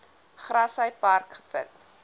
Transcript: grassy park gevind